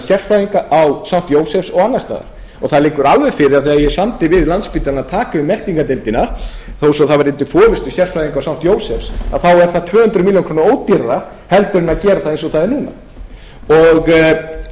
sérfræðinga á st jósefsspítala og annars staðar það liggur alveg fyrir að þegar ég samdi við landspítalann að yfirtaka meltingardeildina þó að það væri undir forustu sérfræðinga st jósefsspítala er það tvö hundruð milljónum krónum ódýrara en að gera það eins og það er núna